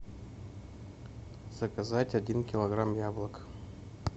заказать один килограмм яблок